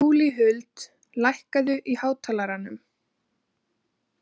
Júlíhuld, lækkaðu í hátalaranum.